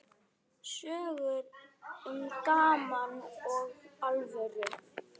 Sögur um gaman og alvöru.